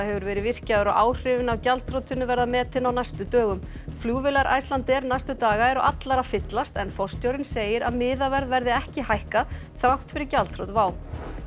hefur verið virkjaður og áhrifin af gjaldþrotinu verða metin á næstu dögum flugvélar Icelandair næstu daga eru allar að fyllast en forstjórinn segir að miðaverð verði ekki hækkað þrátt fyrir gjaldþrot WOW